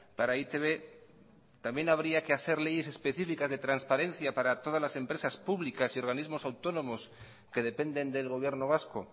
para e i te be también habría que hacer leyes específicas de transparencia para todas las empresas públicas y organismos autónomos que dependen del gobierno vasco